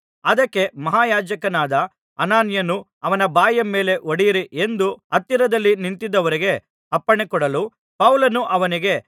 ಅದಕ್ಕೆ ಮಹಾಯಾಜಕನಾದ ಅನನೀಯನು ಅವನ ಬಾಯಿಯ ಮೇಲೆ ಹೊಡೆಯಿರಿ ಎಂದು ಹತ್ತಿರದಲ್ಲಿ ನಿಂತಿದ್ದವರಿಗೆ ಅಪ್ಪಣೆ ಕೊಡಲು ಪೌಲನು ಅವನಿಗೆ